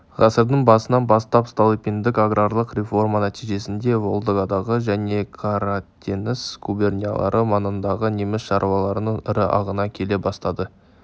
ғасырдың басынан бастап столыпиндік аграрлық реформа нәтижесінде волгадағы және қаратеңіз губерниялары маңындағы неміс шаруаларының ірі ағыны келе бастады